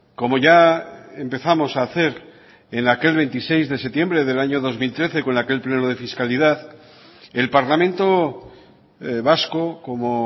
como ya empezamos a hacer en aquel veintiséis de septiembre del año dos mil trece con aquel pleno de fiscalidad el parlamento vasco como